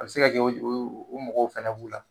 A bɛ se ka kɛ o mɔgɔw fana b'u la